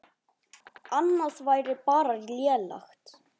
Annað væri bara lélegt.